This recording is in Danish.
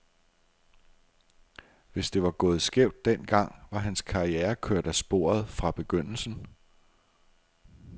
Hvis det var gået skævt den gang, var hans karriere kørt af sporet fra begyndelsen.